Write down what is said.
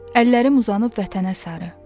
Əllərim uzanıb vətənə sarı.